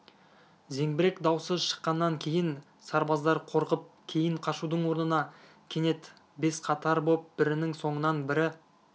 зеңбірек даусы шыққаннан кейін сарбаздар қорқып кейін қашудың орнына кенет бес қатар боп бірінің соңынан бірі